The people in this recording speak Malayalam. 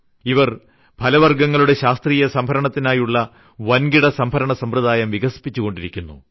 ഇവർ ഫലവർഗ്ഗങ്ങളുടെ ശാസ്ത്രീയസംഭരണത്തിനായുള്ള വൻകിട സംഭരണസമ്പ്രദായം വികസിപ്പിച്ചുകൊണ്ടിരിക്കുന്നു